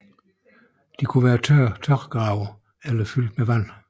De kunne være tørgrave eller fyldt med vand